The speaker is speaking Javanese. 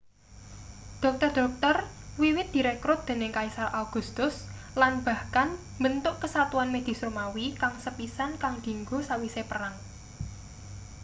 dokter-dokter wiwit direkrut dening kaisar augustus lan bahkan mbentuk kesatuan medis romawi kang sepisan kang dinggo sawise perang